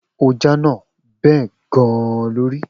O jánà. Bẹ́ẹ̀ gan-an ló rí.